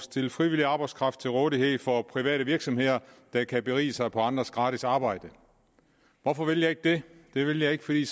stille frivillig arbejdskraft til rådighed for private virksomheder der kan berige sig på andres gratis arbejde hvorfor vil jeg ikke det det vil jeg ikke fordi